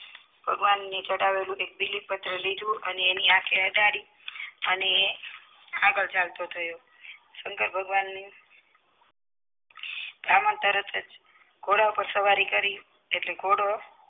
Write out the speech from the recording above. ભગવાનને ચડાવેલો એક બીલીપત્ર લીધું અને એની આંખે અડાડી અને આગળ ચાલતો થયો શંકર ભગવાન તરતજ ઘોડા પર સવારી કરી એટલે ઘોડો